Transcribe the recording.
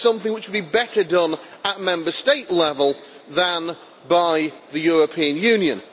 This is something which would be better done at Member State level than by the European Union.